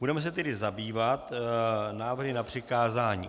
Budeme se tedy zabývat návrhy na přikázání.